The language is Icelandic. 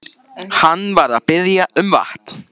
Hann var að biðja um vatn.